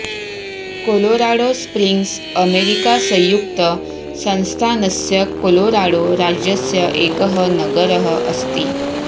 Colorado Springs America संयुक्त संस्थानस्य Colorado राज्यस्य एकः नगरः अस्ति